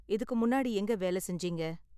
இதுக்கு முன்னாடி எங்க வேல செஞ்சீங்க?